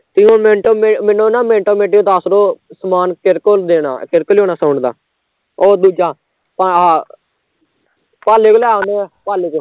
ਤੇ ਮੈਨੂੰ ਉਹ ਮੈਨੂੰ ਨਾ ਮਿੰਟੋ ਮਿੰਟੀ ਦੱਸਦਿਓ, ਸਮਾਨ ਕਿਹੜੇ ਕੋਲ ਦੇਣਾ ਕਿਸਤੋਂ ਲਿਆਉਨਾ sound ਦਾ ਉਹ ਦੂਜਾ ਆਹ ਪਾਲੇ ਤੋਂ ਲੈ ਆਉਂਦੇ ਆ